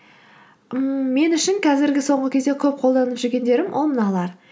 ммм мен үшін қазіргі соңғы кезде көп қолданып жүргендерім ол мыналар